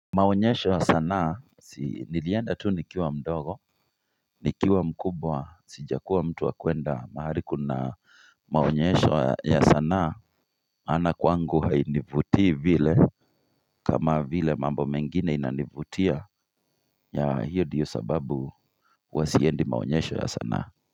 Maonyesho ya sanaa, si nilienda tu nikiwa mdogo, nikiwa mkubwa, sijakuwa mtu wa kwenda mahali kuna maonyesho ya sanaa, maana kwangu hainivutii vile kama vile mambo mengine inanivutia ya hiyo ndio sababu huwa siendi maonyesho ya sanaa.